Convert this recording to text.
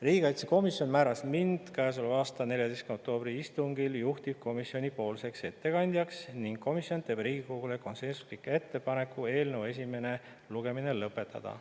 Riigikaitsekomisjon määras mind käesoleva aasta 14. oktoobri istungil juhtivkomisjoni ettekandjaks ning komisjon teeb Riigikogule konsensusliku ettepaneku eelnõu esimene lugemine lõpetada.